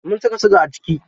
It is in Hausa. Mun saka siga a ciki.